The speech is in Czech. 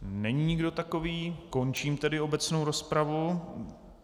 Není nikdo takový, končím tedy obecnou rozpravu.